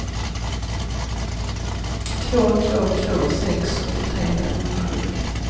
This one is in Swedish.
två två två sex åttiotre femhundrasjuttio